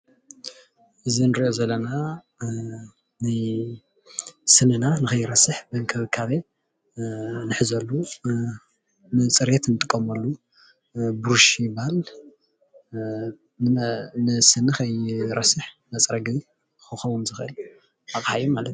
እዚ እንሪኦ ዘለና አአ ንስንና ንኸይረስህ ብክንከቤ ንሕዘሊ ንፅሬት እንጥቀመሉ ብሩሽ ይበሃል። ንስኒ መፅረጊ ንኸይረስሕ ዝኸውን ኣቅሓ ማለት እዩ።